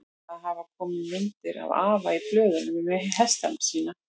Það hafa komið myndir af afa í blöðunum með hestana sína.